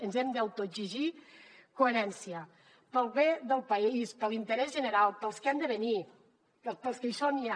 ens hem d’autoexigir coherència pel bé del país per l’interès general per als que han de venir per als que hi són ja